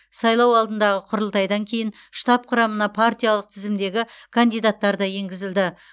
сайлау алдындағы құрылтайдан кейін штаб құрамына партиялық тізімдегі кандидаттар да енгізілді